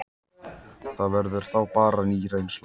Það verður þá bara ný reynsla.